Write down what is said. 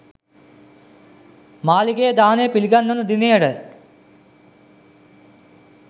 මාලිගයේ දානය පිළිගන්වන දිනයට